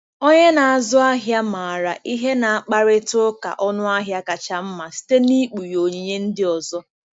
Onye na-azụ ahịa maara ihe na-akparịta ụka ọnụahịa kacha mma site na-ikpughe onyinye ndị ọzọ.